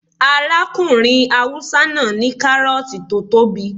Arákùnrin haúsá náà ní kárọ̀ọ̀tì tó tóbi